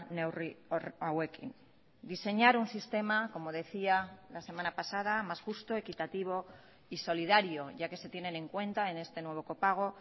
neurri hauekin diseñar un sistema como decía la semana pasada más justo equitativo y solidario ya que se tienen en cuenta en este nuevo copago